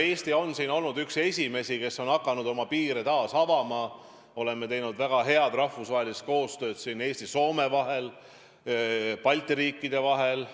Eesti on olnud üks esimesi, kes on hakanud oma piire taas avama, oleme teinud väga head rahvusvahelist koostööd Eesti ja Soome vahel, Balti riikide vahel.